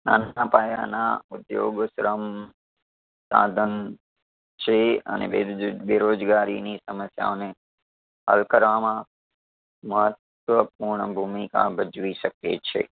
નાના પાયાના ઉધ્યોગ શ્રમ સાધન છે અને બેરોજ બેરોજગારીની સમસ્યાઓ ને હલ કરવામાં મહત્વપૂર્ણ ભૂમિકા ભજવી શકે છે.